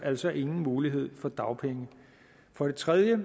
altså ingen mulighed for dagpenge for det tredje er